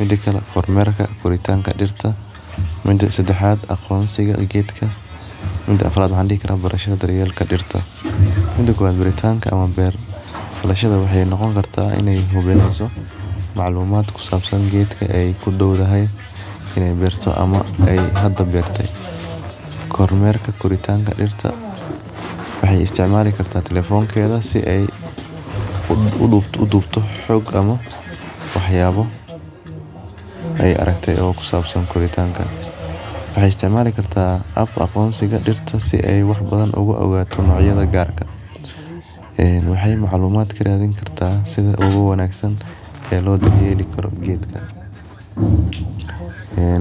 mida kale kormerka koritaka dirta mida sadaxaad aqonsiga geedka mida afarad barashaada daryeelka dirta, mida kowaad aburitanka ama beer falashaada waxee noqoni kartaa ini maclumaad kusabsan geedka ee kudowdahay ee beerta ama ee hada meerte kormerka koritanka dirta waxee isticmali kartaa talefonkedha si ee udubto xog ama waxyabo ee aragte ee kusabsan koritanka waxee isticmali kartaa aqonsiga dirta si ee wax badan oga ogato ayada gar waxee maclumaad karadsan kartaa sitha ogu wanagsan ee lo daryeli karo geedka ee.